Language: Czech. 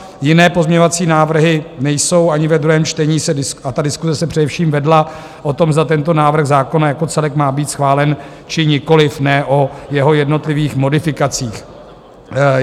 Jiné pozměňovací návrhy nejsou ani ve druhém čtení a ta diskuse se především vedla o tom, zda tento návrh zákona jako celek má být schválen, či nikoliv, ne o jeho jednotlivých modifikacích.